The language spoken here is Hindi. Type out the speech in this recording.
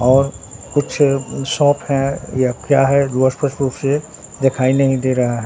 और कुछ शॉप है या क्या है जो स्पष्ट रुप से दिखाई नहीं दे रहा है।